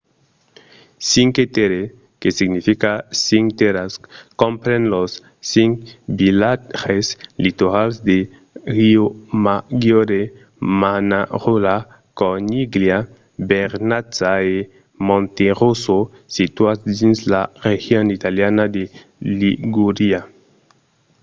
cinque terre que significa cinc tèrras compren los cinc vilatges litorals de riomaggiore manarola corniglia vernazza e monterosso situats dins la region italiana de ligúria